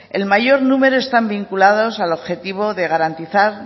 el mayor número están vinculados al objetivo de garantizar